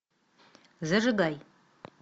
зажигай